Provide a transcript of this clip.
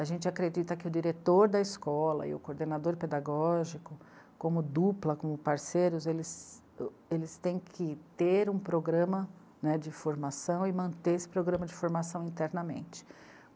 A gente acredita que o diretor da escola e o coordenador pedagógico, como dupla, como parceiros, eles, eles têm que ter um programa, né, de formação e manter esse programa de formação internamente.